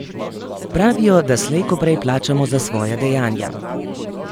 Pravijo, da slej ko prej plačamo za svoja dejanja.